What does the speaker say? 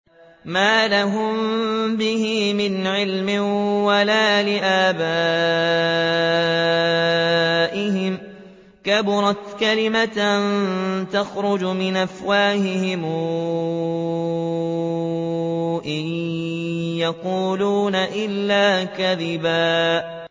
مَّا لَهُم بِهِ مِنْ عِلْمٍ وَلَا لِآبَائِهِمْ ۚ كَبُرَتْ كَلِمَةً تَخْرُجُ مِنْ أَفْوَاهِهِمْ ۚ إِن يَقُولُونَ إِلَّا كَذِبًا